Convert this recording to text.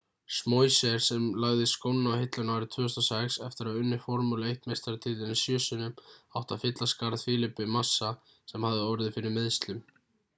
schumacher sem lagði skóna á hilluna árið 2006 eftir að hafa unnið formúlu 1 meistaratitilinn sjö sinnum átti að fylla skarð felipe massa sem hafði orðið fyrir meiðslum